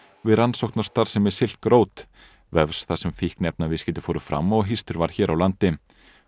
við rannsókn á starfsemi Silk Road vefs þar sem fíkniefnaviðskipti fóru fram og var hér á landi